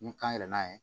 Ni kan yɛlɛ n'a ye